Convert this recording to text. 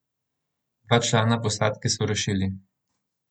Dva člana posadke so rešili.